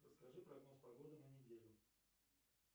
расскажи прогноз погоды на неделю